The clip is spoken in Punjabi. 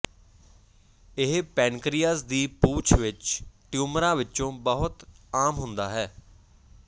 ਇਹ ਪੈਨਕ੍ਰੀਅਸ ਦੀ ਪੂਛ ਵਿਚ ਟਿਊਮਰਾਂ ਵਿੱਚੋਂ ਬਹੁਤ ਆਮ ਹੁੰਦਾ ਹੈ